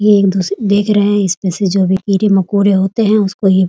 ये एक दूस देख रहे है इसमें से जो भी कीड़े-मकोड़े होते हैं उसको ये --